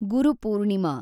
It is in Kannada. ಗುರು ಪೂರ್ಣಿಮಾ